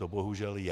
To bohužel je.